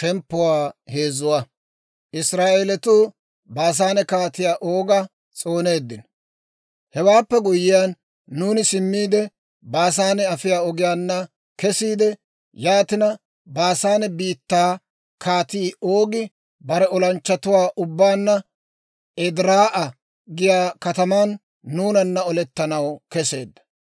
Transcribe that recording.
«Hewaappe guyyiyaan nuuni simmiide, Baasaane afiyaa ogiyaanna kesiidde; yaatina, Baasaane biittaa Kaatii Oogi bare olanchchatuwaa ubbaanna Ediraa'a giyaa kataman nuunana olettanaw keseeddo.